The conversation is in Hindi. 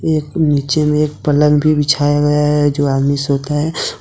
एक नीचे में एक पलंग भी बिछाया गया है जो आदमी सोता है।